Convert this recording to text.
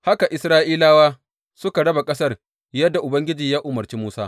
Haka Isra’ilawa suka raba ƙasar, yadda Ubangiji ya umarci Musa.